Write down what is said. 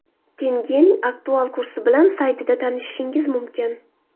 Tengening aktual kursi bilan saytida tanishishingiz mumkin.